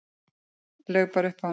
Laug bara upp á hann.